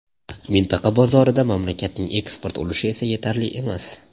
Mintaqa bozorida mamlakatning eksport ulushi esa yetarli emas.